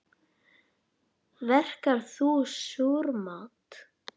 Verkar þú súrmat?